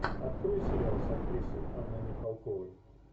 открой сериал с актрисой анной михалковой